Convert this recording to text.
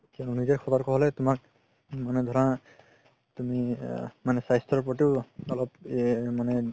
নিজে সতৰ্ক হ'ব লাগে তোমাক মানে ধৰা তুমি আ তুমি স্বাস্থ্য প্ৰতি অলপ মানে